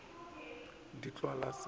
mefsa le ditlwaelo se ba